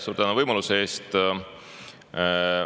Suur tänu võimaluse eest!